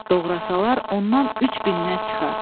Doğrasalar ondan 3 minnət çıxar.